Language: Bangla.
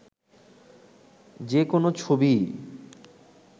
যে কোনো ছবিই